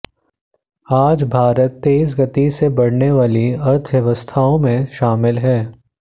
आज भारत तेज़ गति से बढने वाली अर्थव्यवस्थाओं मे शामिल है